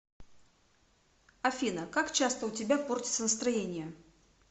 афина как часто у тебя портится настроение